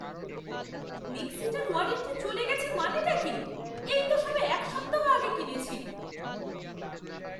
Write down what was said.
মিক্সিটার warranty চলে গেছে মানেটা কী? এই তো সবে এক সপ্তাহ আগে কিনেছি!